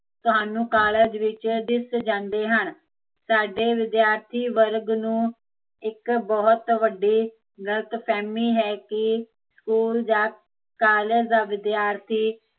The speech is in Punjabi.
ਤੁਹਾਨੂੰ ਕਾਲਜ ਵਿੱਚ ਦਿਸ ਜਾਂਦੇ ਹਨ ਸਾਡੇ ਵਿਦਿਆਰਥੀ ਵਰਗ ਨੂੰ ਇੱਕ ਬਹੁਤ ਵੱਡੀ, ਗਲਤਫ਼ਹਿਮੀ ਹੈ ਕੀ ਸਕੂਲ ਜਾਂ, ਕਾਲਜ ਦਾ ਵਿਦਿਆਰਥੀ